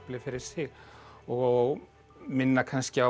fyrir sig og minna kannski á